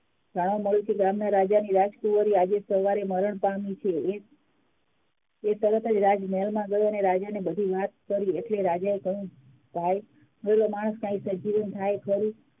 રાજાની રાજકુમારી આજે સવારે મરણ પામી છે એ તરત જ રાજા ના રાજમહેલ માં ગયો અને રાજા ને બધી વાત કરી એટલે રાજા એ કહ્યું ભાઈ મરેલો માણસ કઈ સજીવ થાય ખરી